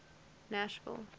nashville